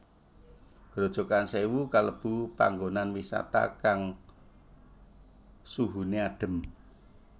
Grojogan Sèwu kalebu panggonan wisata kang suhuné adhem